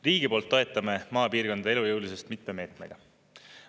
Riigi poolt toetame maapiirkondade elujõulisust mitme meetmega.